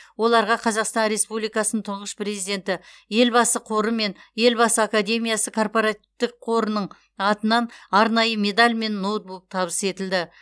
оларға қазақстан республикасының тұңғыш президенті елбасы қоры мен елбасы академиясы корпоративтік қорының атынан арнайы медаль мен ноутбук табыс етілді